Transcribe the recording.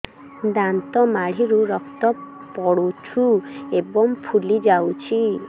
ଦାନ୍ତ ମାଢ଼ିରୁ ରକ୍ତ ପଡୁଛୁ ଏବଂ ଫୁଲି ଯାଇଛି